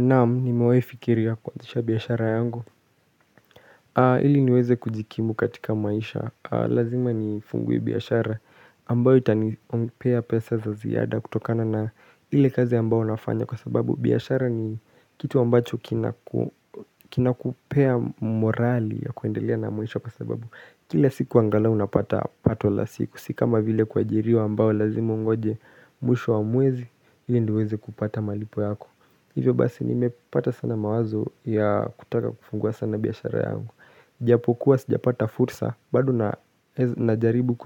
Naam, nimewai fikiria kuanzisha biashara yangu. Hili niweze kujikimu katika maisha. Lazima nifungue biashara. Ambao itanipea pesa za ziyada kutokana na ile kazi ambao nafanya kwa sababu. Biashara ni kitu ambacho kinakupea morali ya kuendelea na maisha kwa sababu. Kila siku angalau unapata pato la siku. Si kama vile kuajiriwa ambao lazima ungoje mwisho wa mwezi. Hili ndio uweze kupata malipo yako. Hivyo basi nimepata sana mawazo ya kutaka kufungua sana biashara yangu. Japokuwa sijapata fursa, bado najaribu